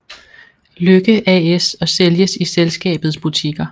Lykke AS og sælges i selskabets butikker